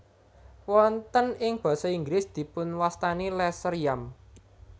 Wonten ing basa Inggris dipunwastani lesser yam